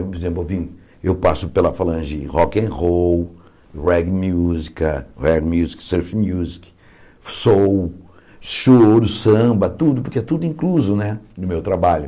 Por exemplo, eu vim eu passo pela falange rock and roll, reggae música eh music, surf music, soul, choro, samba, tudo, porque é tudo incluso né no meu trabalho.